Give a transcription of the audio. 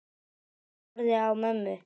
Ég horfi á mömmu.